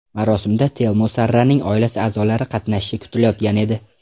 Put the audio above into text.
Marosimda Telmo Sarraning oila a’zolari qatnashishi kutilayotgan edi.